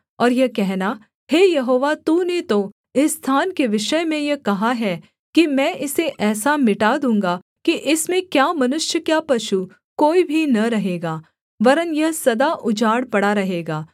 और यह कहना हे यहोवा तूने तो इस स्थान के विषय में यह कहा है कि मैं इसे ऐसा मिटा दूँगा कि इसमें क्या मनुष्य क्या पशु कोई भी न रहेगा वरन् यह सदा उजाड़ पड़ा रहेगा